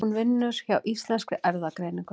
Hún vinnur hjá Íslenskri erfðagreiningu.